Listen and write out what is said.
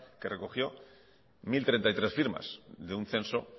que recogió mil treinta y tres firmas de un censo